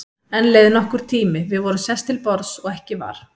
Enn leið nokkur tími, við vorum sest til borðs og ekki var